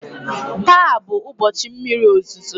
taa bụ ụbọchị mmiri ozuzo